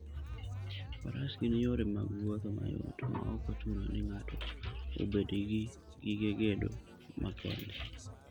Faras gin yore mag wuoth mayot, maok ochuno ni ng'ato obed gi gige gedo makende.